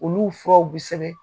Olu furaw bɛ sɛbɛn.